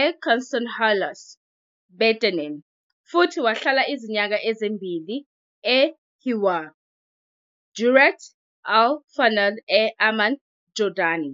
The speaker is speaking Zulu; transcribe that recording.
eKünstlerhaus Bethanien futhi wahlala izinyanga ezimbili eHIWAR - Durant Al Funun e- Amman, eJordani.